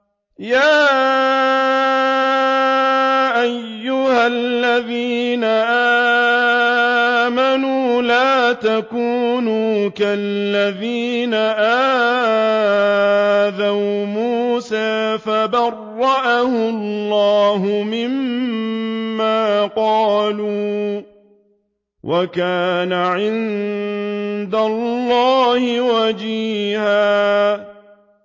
يَا أَيُّهَا الَّذِينَ آمَنُوا لَا تَكُونُوا كَالَّذِينَ آذَوْا مُوسَىٰ فَبَرَّأَهُ اللَّهُ مِمَّا قَالُوا ۚ وَكَانَ عِندَ اللَّهِ وَجِيهًا